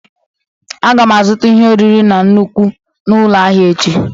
Aga m azụta ihe oriri na nnukwu n'ụlọ ahịa echi.